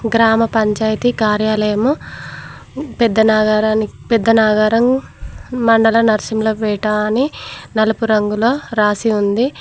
గ్రామపంచాయతీ కార్యాలయము పెద్ద నగరానికి పెద్దనాగారం మండల నరసింహులపేట అని నలుపు రంగుల రాసి ఉంది.